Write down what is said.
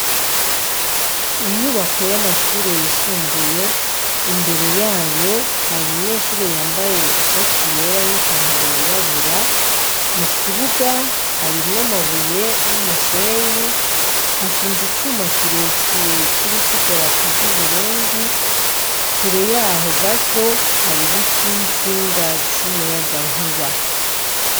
Inyubako y'amashure yisumbuye imbere yayo hari umunyeshuri yambaye ishati yera n'ipantaro yirabura, mu kibuga harimwo amabuye n'umusenyi, hashinze icuma kirekire kiriko idarapo ry'Uburundi, kure yaho gato hari ibiti n'intsinga z'umuyagankuba.